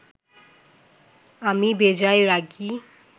আমি বেজায় রাগী